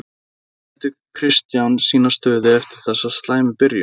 Hvernig metur Kristján sína stöðu eftir þessa slæmu byrjun?